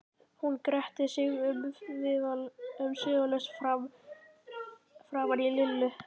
Hún gretti sig umsvifalaust framan í Lillu.